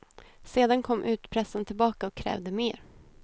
Sedan kom utpressaren tillbaka och krävde mer.